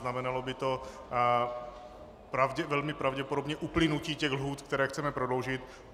Znamenalo by to velmi pravděpodobně uplynutí těch lhůt, které chceme prodloužit.